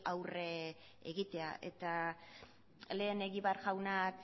aurre egitea eta lehen egibar jaunak